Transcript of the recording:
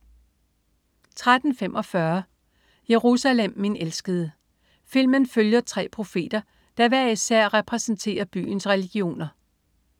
13.45 Jerusalem, min elskede. Filmen følger tre profeter, der hver især repræsenterer byens religioner